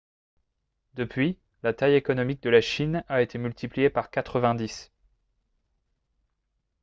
depuis la taille économique de la chine a été multipliée par 90